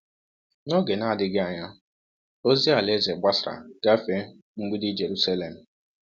N’oge na-adịghị anya, ozi Alaeze gbasara gafee mgbidi Jeruselem.